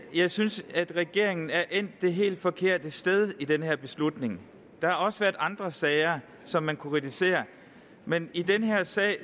jeg synes at regeringen er endt det helt forkerte sted i den her beslutning der har også været andre sager som man kunne kritisere men i den her sag